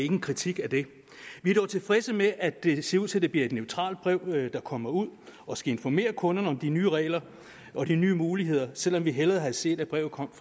en kritik af det vi er dog tilfredse med at det ser ud til at det bliver et neutralt brev der kommer ud og skal informere kunderne om de nye regler og de nye muligheder selv om vi hellere havde set brevet komme